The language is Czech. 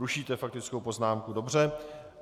Rušíte faktickou poznámku, dobře.